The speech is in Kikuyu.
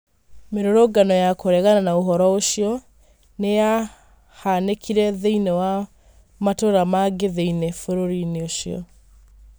Mĩrũrũngano ya kũregana na ũhoro ũcio nĩ yahanĩkire thĩinie wa matũra mangĩ thĩiniĩ bũrũri ũcio..